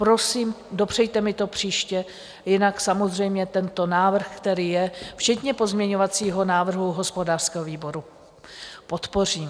Prosím, dopřejte mi to příště, jinak samozřejmě tento návrh, který je, včetně pozměňovacího návrhu hospodářského výboru, podpořím.